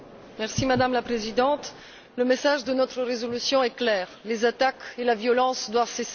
Madame la Présidente, le message de notre résolution est clair les attaques et la violence doivent cesser.